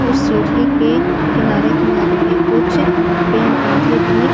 उस सीढ़ी के किनारे-किनारे में कुछ पेड़-पौधे भी--